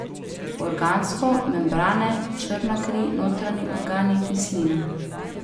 Organsko, membrane, črna kri, notranji organi, kislina ...